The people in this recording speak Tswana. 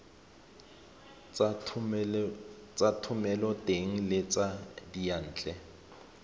tsa thomeloteng le tsa diyantle